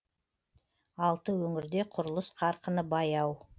алты өңірде құрылыс қарқыны баяу